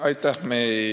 Aitäh!